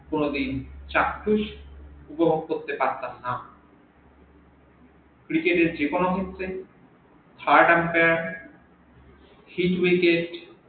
কোন দিন চাখ্যুশ উপভোগ করতে পারতাম না cricket এর যেকোনো মুহূর্তে third ampere field wicket